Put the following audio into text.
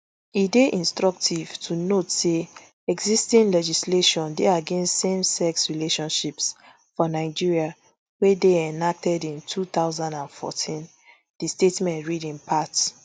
e dey instructive to note say existing legislation dey against same sex relationships for nigeria wey dey enacted for two thousand and fourteen di statement read in part